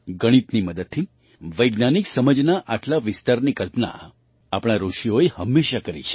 ગણિતની મદદથી વૈજ્ઞાનિક સમજના આટલા વિસ્તારની કલ્પના આપણા ઋષિઓએ હંમેશાં કરી છે